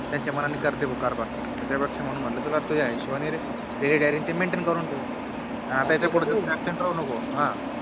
त्यांच्या मनाने करते भो कारभार त्याच्या पेक्षा म्हणून म्हटलं तुला तुझ्या हिशोबाने Daily diary maintain करून ठेव या पुढे Absent राहू नको